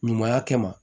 Ɲumanya kɛ ma